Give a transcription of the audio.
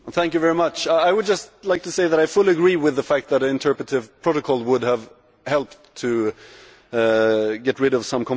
I would just like to say that I fully agree with the fact that an interpretative protocol would have helped get rid of some confusion.